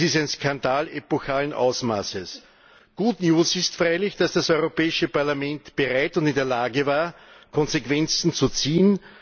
Das ist ein Skandal epochalen Ausmaßes. Good news ist freilich, dass das Europäische Parlament bereit und in der Lage war, Konsequenzen zu ziehen.